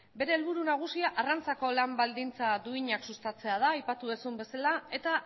bere helburu nagusia arrantzako lan baldintza duinak sustatzea da aipatu dezun bezala eta